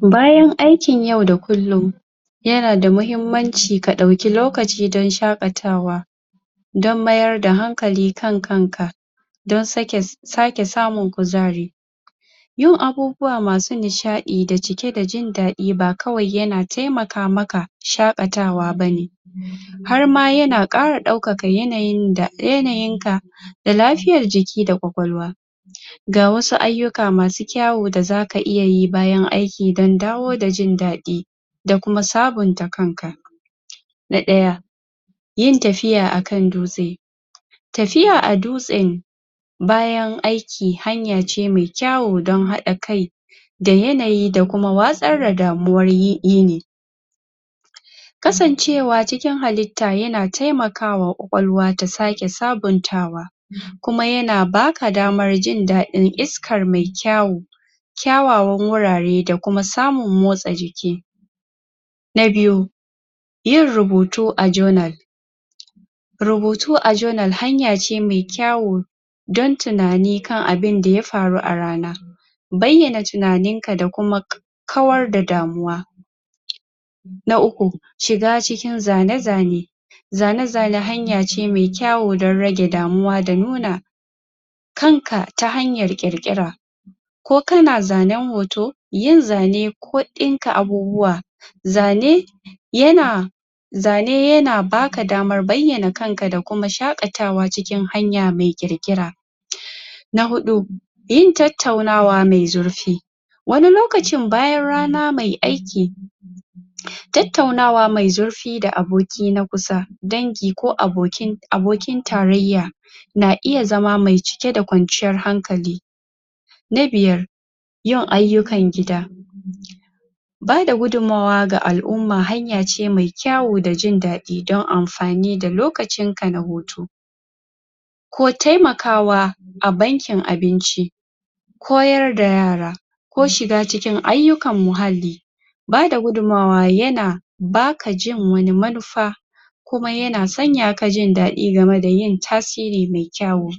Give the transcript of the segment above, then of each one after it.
bayan aikin yau da kullun yanada mahimmanci ka ɗauki lokaci don shakatawa don mayar da hankali kan kanka don sake don sake samun kuzari yin abubuwa masu nishaɗi da cike da jin daɗi ba kawai yana taimaka maka shakatawa bane harma yan ƙara daukaka yanayin da da yanayin ka da lafiyar jiki da ƙwaƙwalwa ga wasu ayyuka masu kyawu da zaka iya yi bayan aiki dan dawo da jin daɗi dakuma sabunta kanka na ɗaya yin tafiya akan dutse tafiya a dutse bayan aiki haya ce mai kyawu don haɗa kai da yanayi da kuma watsar da damuwar yi yini kasancewa cikin halli ta yana taimaka wa ƙwa ƙwalwa ta sake sabuntawa um kuma yana baka damar jin dadin iskar mai kyawu kyawawan wurare da kuma samun motsa jiki na biyu yin rubutu a journal rubutu a journal hanya ce mai kyawu don tunani kan abun da yafaru a rana bayyana tunaninka da kuma kawar da damuwa na uku shiga cikin zane zane zane zane hanya ce mai kyawu da rage damuwa da nuna kanka ta hanyar ƙirƙira ko kana zanen hoto yin zane ko ɗinka abubuwa zane yana zane yana baka damar bayyana kanka da kuma shaɗatawa cikin hanya mai ƙirƙira na hudu yin tattaunawa mai zurfi wani lokacin bayan rana mai aiki tattaunawa mai zurfi da aboki na kusa dangii ko abokin abokin tarayya na iya zama mai cike da kwanciyar hankali na biyar yin ayyukan gida bada gudumawa ga al'umma hanya ce mai kyawu da jin daɗi don anfani da lokacin ka na hutu ko taimakawa a bankin abinci koyar da yara ko shiga cikin ayyukan muhalli bada gudumawa yana baka jin wani manufa kuma yana sanyaka jin ɗaɗi game da yin tasiri mai kyawu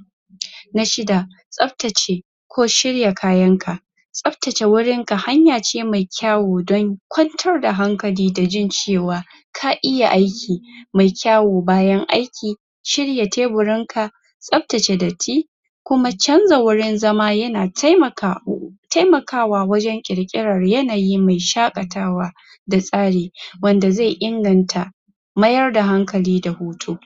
na shida tsabtace ko shirya kayan ka tsabtace wurinka hanya ce mai kyawu don kwantar da hankali da jin cewa ka iya aiki mai kyawu bayan aiki shirya teburinka tsabtace datti kuma canza wurin zama yana taimaka tamakawa wajan ƙirƙirar yanayi mai shaƙatawa da tsari wanda zai inganta mayar da hankali da hutu